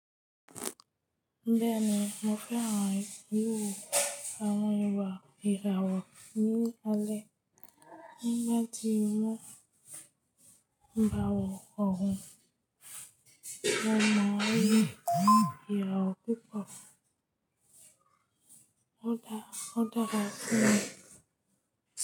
Bẹ́ẹ̀ni, mo fẹ́ran wiwo àwọn ìwà ìràwọ̀ ní alẹ́. Nígbà tí mo ń bá wọn wò óòhún, mo mọ̀ wípé ìràwọ̀ púpọ̀ ó dára fún mi.